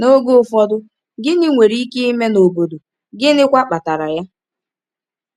N’oge ụfọdụ, gịnị nwere ike ime n’obodo, gịnịkwa kpatara ya?